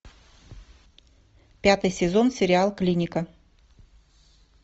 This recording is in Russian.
пятый сезон сериал клиника